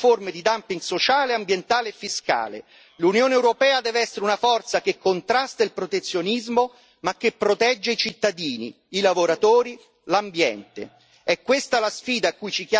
In ogni caso noi non accetteremo forme di dumping sociale, ambientale e fiscale l'Unione europea deve essere una forza che contrasta il protezionismo, ma che protegge i cittadini, i lavoratori, l'ambiente.